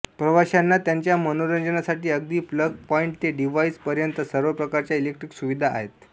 प्रवाश्यांना त्यांच्या मनोरंजनासाठी अगदी प्लग पॉइंट ते डिव्हाईस पर्यन्त सर्व प्रकारच्या इलेक्ट्रिक सुविधा आहेत